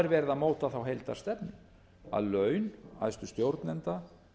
er verið að móta þá heildarstefnu að laun æðstu stjórnenda